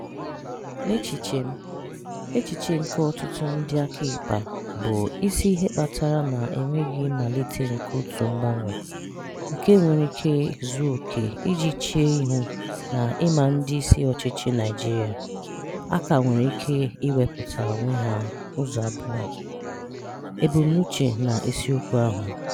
N'echiche m, echiche nke ọtụtụ ndị akaịpa, bụ isi ihe kpatara na enweghị mmalite nke otu mgbanwe, nke nwere ike zuo oke iji chee ihu na ịma ndị isi ọchịchị Naịjirịa aka nwere ike ikewapụ onwe ha ụzọ abụọ: ebumnuche na isiokwu ahụ.